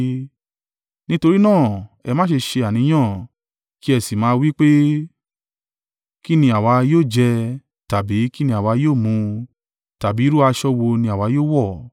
Nítorí náà, ẹ má ṣe ṣe àníyàn kí ẹ sì máa wí pé, ‘Kí ni àwa yóò jẹ?’ tàbí ‘Kí ni àwa yóò mu?’ tàbí ‘Irú aṣọ wo ni àwa yóò wọ̀?’